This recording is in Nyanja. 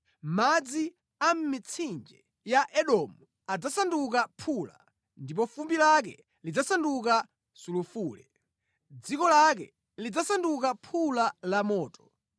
Madzi a mʼmitsinje ya Edomu adzasanduka phula, ndipo fumbi lake lidzasanduka sulufule; dziko lake lidzasanduka phula lamoto!